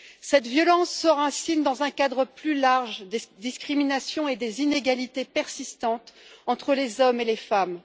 Cette violence s'enracine dans un cadre plus large des discriminations et des inégalités persistantes entre les hommes et les femmes.